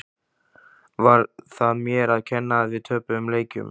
Var það mér að kenna að við töpuðum leikjum?